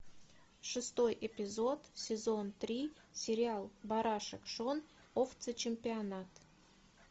шестой эпизод сезон три сериал барашек шон овцечемпионат